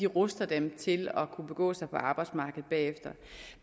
ruster dem til at kunne begå sig på arbejdsmarkedet bagefter